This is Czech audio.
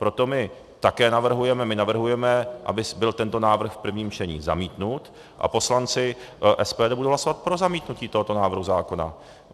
Proto my také navrhujeme, my navrhujeme, aby byl tento návrh v prvním čtení zamítnut, a poslanci SPD budou hlasovat pro zamítnutí tohoto návrhu zákona.